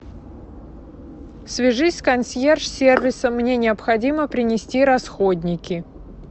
свяжись с консьерж сервисом мне необходимо принести расходники